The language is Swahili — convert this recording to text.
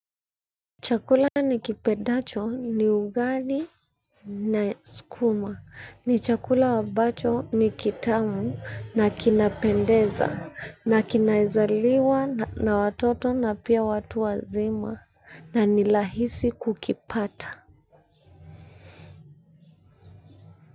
Chakula ni kipendacho ni ugali na sukuma. Ni chakula ambacho ni kitamu na kinapendeza na kinaezaliwa na watoto na pia watu wazima na nirahisi kukipata.